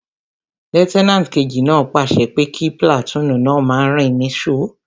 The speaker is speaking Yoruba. Lútẹ́nàtì kejì náà pàṣẹ pé kí pìlàtúùnù náà máa rìn ní sò